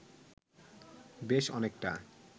বেশ অনেকটা